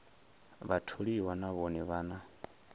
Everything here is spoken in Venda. vhatholiwa na vhone vha na